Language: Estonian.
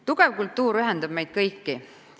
Tugev kultuur ühendab meid kõiki.